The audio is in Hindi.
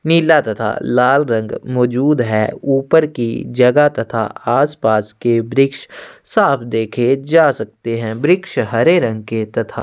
नीला तथा लाल रंग मौजूद है ऊपर की जगह तथा आस-पास के वृक्ष साफ़ देखे जा सकते है वृक्ष हरे रंग के तथा--